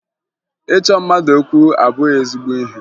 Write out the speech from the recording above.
Ịchọ mmadụ okwu abụghị ezigbo ihe